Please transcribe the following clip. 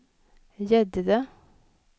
Gäddede